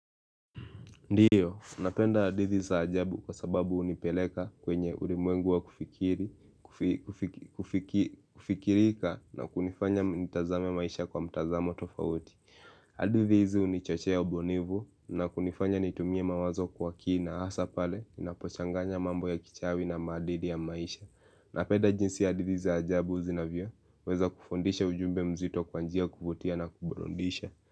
Ndiyo, napenda hadithi za ajabu kwa sababu hunipeleka kwenye ulimwengu wa kufikiri kufikirika na kunifanya nitazame maisha kwa mtazamo tofauti. Hadithi hizi hunichochee ubunifu na kunifanya nitumie mawazo kwa kina hasa pale ninapochanganya mambo ya kichawi na maadili ya maisha. Napenda jinsi hadithi za ajabu zinavyoweza kufundisha ujumbe mzito kwa njia ya kufutia na kuburudisha.